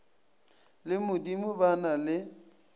le modimo ba na le